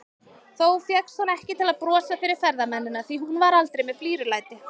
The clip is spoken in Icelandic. Þó fékkst hún ekki til að brosa fyrir ferðamennina, því hún var aldrei með flírulæti.